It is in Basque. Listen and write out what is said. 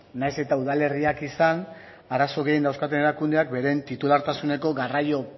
nahiz eta udalerriak izan arazo gehien dauzkaten erakundeak beren titulartasuneko garraio